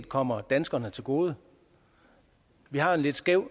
kommer danskerne til gode vi har en lidt skæv